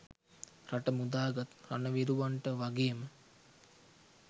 රට මුදාගත් රණවිරුවන්ට වගේම